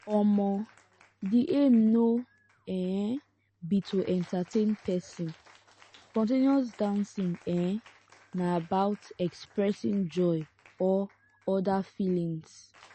um di aim no um be to entertain person spon ten ous dancing um na about expressing joy or oda feelings